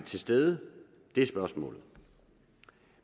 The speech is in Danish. til stede i det er spørgsmålet